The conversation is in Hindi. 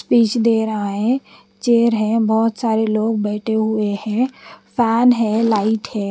स्पेच दे रहा है चेर है बोत सारे लोग बेठे हुए है फेन है लाइट है।